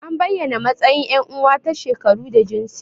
An bayyana matsayin yan uwa ta shekaru da jinsi.